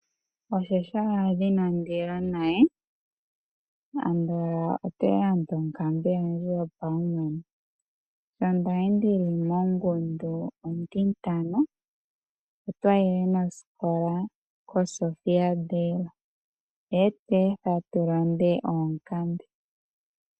Oshaala inaandi ya naye, andola ote landa onkambe yandje yopaumwene. Sho twali tu li mongundu ontintano, otwa yile nosikola kosofia day noye tu etha tu lande oonkambe.